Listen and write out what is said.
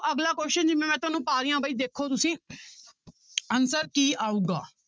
ਅਗਲਾ question ਜਿਵੇਂ ਮੈਂ ਤੁਹਾਨੂੰ ਪਾ ਰਹੀ ਬਾਈ ਦੇਖੋ ਤੁਸੀਂ answer ਕੀ ਆਊਗਾ।